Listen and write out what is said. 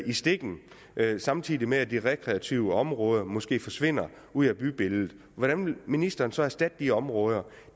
i stikken samtidig med at de rekreative områder måske forsvinder ud af bybilledet hvordan vil ministeren så erstatte de områder